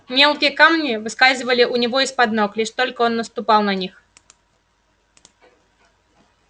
мелкие камни выскальзывали у него из под ног лишь только он наступал на них